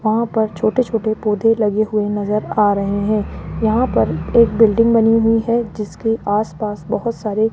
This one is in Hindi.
वहां पर छोटे छोटे पौधे लगे हुए नजर आ रहे हैं यहां पर एक बिल्डिंग बनी हुई है जीसके आस पास बहोत सारे --